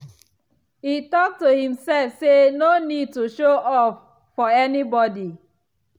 e talk to himself say no need to show off for anybody.